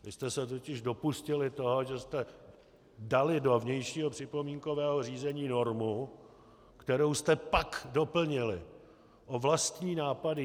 Vy jste se totiž dopustili toho, že jste dali do vnějšího připomínkového řízení normu, kterou jste pak doplnili o vlastní nápady.